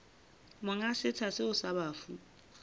monga setsha seo sa bafu